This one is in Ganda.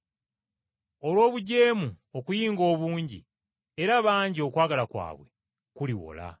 Olw’obujeemu okuyinga obungi, era bangi okwagala kwabwe kuliwola.